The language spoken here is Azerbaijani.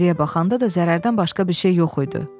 Geriyə baxanda da zərərdən başqa bir şey yox idi.